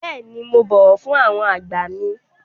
Bẹ́ẹ̀ni, mo bọ̀wọ̀ fún àwọn àgbà mi.